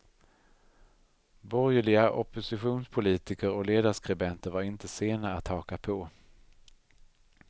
Borgerliga oppositionspolitiker och ledarskribenter var inte sena att haka på.